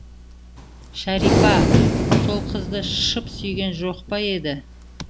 шәрипа сол қызды шып сүйген жоқ па еді